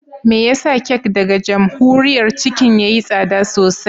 Me yasa kek daga Jamhuriyar Chicken yayi tsada sosai?